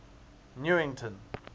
newington